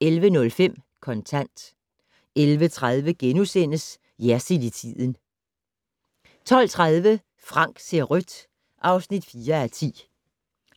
11:05: Kontant 11:30: Jersild i tiden * 12:30: Frank ser rødt (4:10)